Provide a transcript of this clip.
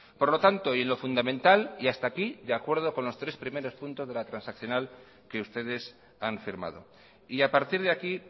por lo tanto y en lo fundamental y hasta aquí de acuerdo con los tres primeros puntos de la transaccional que ustedes han firmado y a partir de aquí